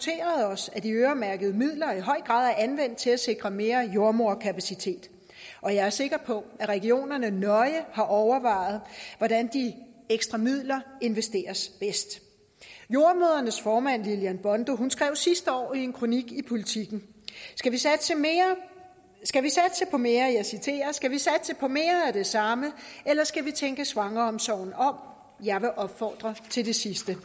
os at de øremærkede midler i høj grad er anvendt til at sikre mere jordemoderkapacitet og jeg er sikker på at regionerne nøje har overvejet hvordan de ekstra midler investeres bedst jordemødrenes formand lillian bondo skrev sidste år i en kronik i politiken skal vi satse på mere af det samme eller skal vi tænke svangreomsorgen om jeg vil opfordre til det sidste